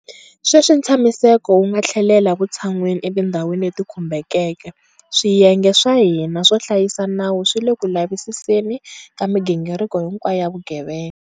Sweswi ntshamiseko wu nga tlhelela vutshan'wini etindhwani leti khumbekeke, swiyenge swa hina swo hlayisa nawu swi le ku lavisiseni ka migingiriko hinkwayo ya vugevenga.